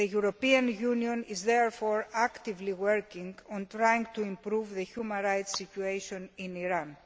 The European Union is therefore actively working on trying to improve the human rights situation in Iran.